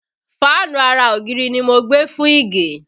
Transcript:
Fáànù ara ògiri ni mo gbé fún Ìgè